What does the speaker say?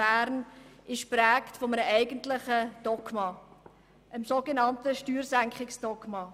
Bern ist geprägt von einem eigentlichen Dogma: dem sogenannten Steuersenkungsdogma.